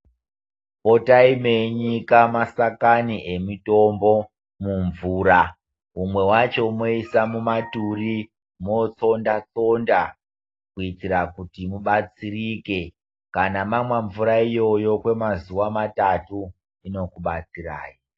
Potai meinyika masakanai emitombo mumvura mwe wacho moisa mumaturi motsonda tsonda kuitira kuti mubatsirike kana mamwa mvura iyoyo kwemazuva matatu inokubatsirai.